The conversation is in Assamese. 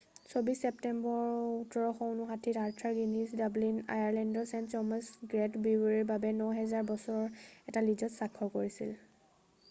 ২৪ ছেপ্টেম্বৰ ১৭৫৯-ত আৰ্থাৰ গিনিজে ডাব্লিন আয়াৰলেণ্ডৰ ছেইণ্ট জেম্‌ছৰ গে'ট ব্ৰিৱাৰীৰ বাবে ৯০০০ বছৰৰ এটা লীজত স্বাক্ষৰ কৰিছিল।